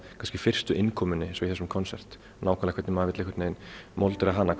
kannski fyrstu innkomunni eins og í þessum konsert nákvæmlega hvernig maður vill móta hana